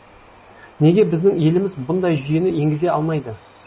неге біздің еліміз бұндай жүйені енгізе алмайды